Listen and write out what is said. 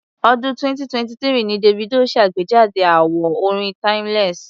Ọ̀dún 2023 ni Davido ṣàgbejáde àwo orin Timeless.